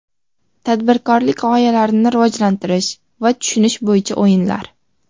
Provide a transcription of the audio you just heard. Tadbirkorlik g‘oyalarini rivojlantirish va tushunish bo‘yicha o‘yinlar.